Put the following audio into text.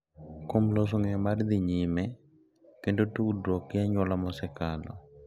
Kuom loso ng’eyo mar dhi nyime kendo tudruok gi anyuola mosekalo.